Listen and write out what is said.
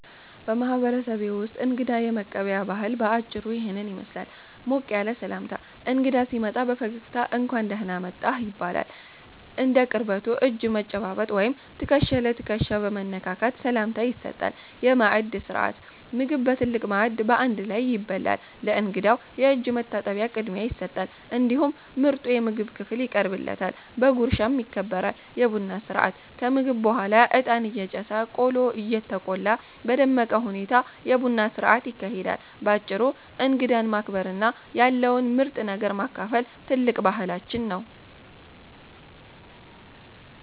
በማህበረሰቤ ውስጥ እንግዳ የመቀበያ ባህል በአጭሩ ይህንን ይመስላል፦ ሞቅ ያለ ሰላምታ፦ እንግዳ ሲመጣ በፈገግታ "እንኳን ደህና መጣህ" ይባላል። እንደ ቅርበቱ እጅ በመጨባበጥ ወይም ትከሻ ለትከሻ በመነካካት ሰላምታ ይሰጣል። የማዕድ ሥርዓት፦ ምግብ በትልቅ ማዕድ በአንድ ላይ ይበላል። ለእንግዳው የእጅ መታጠቢያ ቅድሚያ ይሰጣል፤ እንዲሁም ምርጡ የምግብ ክፍል ይቀርብለታል፣ በጉርሻም ይከበራል። የቡና ሥርዓት፦ ከምግብ በኋላ እጣን እየጨሰ፣ ቆሎ እየተቆላ በደመቀ ሁኔታ የቡና ሥርዓት ይካሄዳል። ባጭሩ እንግዳን ማክበርና ያለውን ምርጥ ነገር ማካፈል ትልቅ ባህላችን ነው።